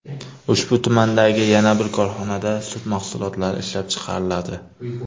Ushbu tumandagi yana bir korxonada sut mahsulotlari ishlab chiqariladi.